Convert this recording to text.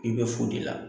I bɛ fo de la